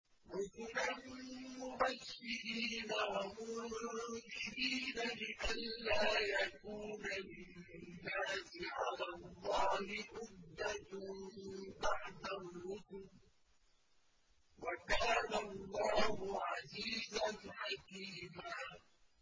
رُّسُلًا مُّبَشِّرِينَ وَمُنذِرِينَ لِئَلَّا يَكُونَ لِلنَّاسِ عَلَى اللَّهِ حُجَّةٌ بَعْدَ الرُّسُلِ ۚ وَكَانَ اللَّهُ عَزِيزًا حَكِيمًا